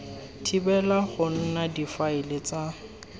thibela go nna difaele tsa